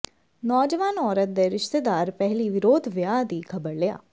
ਨੌਜਵਾਨ ਔਰਤ ਦੇ ਰਿਸ਼ਤੇਦਾਰ ਪਹਿਲੀ ਵਿਰੋਧ ਵਿਆਹ ਦੀ ਖਬਰ ਲਿਆ